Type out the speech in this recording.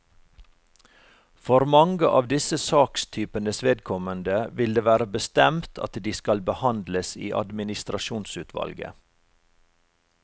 For mange av disse sakstypenes vedkommende vil det være bestemt at de skal behandles i administrasjonsutvalget.